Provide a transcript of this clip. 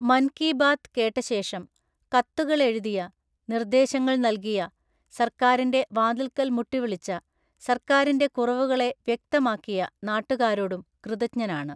മന്‍ കീ ബാത് കേട്ടശേഷം കത്തുകളെഴുതിയ, നിർദ്ദേശങ്ങള്‍ നല്കിയ, സർക്കാരിന്റെ വാതിൽക്കൽ മുട്ടിവിളിച്ച, സർക്കാരിന്റെ കുറവുകളെ വ്യക്തമാക്കിയ നാട്ടുകാരോടും കൃതജ്ഞനാണ്.